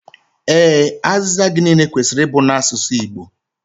Ee, azịza gị niile kwesịrị ịbụ n'asụsụ Igbo